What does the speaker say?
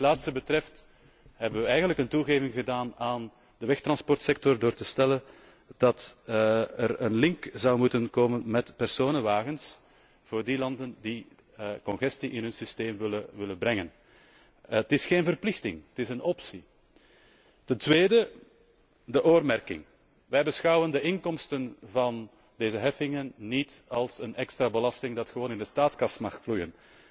Wat dit laatste betreft, hebben we eigenlijk een toegeving gedaan aan de wegtransportsector door te stellen dat er een link zou moeten komen met personenwagens voor die landen die congestie in hun systeem willen opnemen. Het is geen verplichting, het is een optie. Ten tweede, de oormerking. Wij beschouwen de inkomsten van deze heffingen niet als een extra belasting die gewoon in de staatskas mag vloeien.